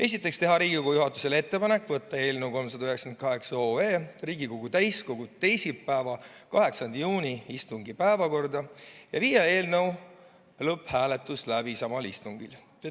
Esiteks, teha Riigikogu juhatusele ettepanek võtta eelnõu 398 Riigikogu täiskogu teisipäeva, 8. juuni istungi päevakorda ja viia eelnõu lõpphääletus läbi samal istungil.